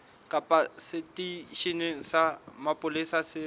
kapa seteisheneng sa mapolesa se